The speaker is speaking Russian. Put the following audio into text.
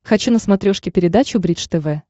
хочу на смотрешке передачу бридж тв